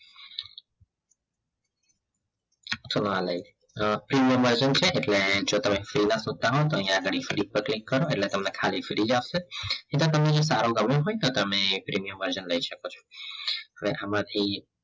ચલો આ લઈ લો premium version છે એટલે જો તમે free શોધતા હો તો આગળ પર click કરો એટલે ખાલી તમને free જ આપશે એટલે તમને જે સારો ગમ્યો હોય તો તમે premium version લઈ શકો છો હવે આમાંથી